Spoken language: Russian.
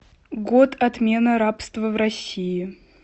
год отмена рабства в россии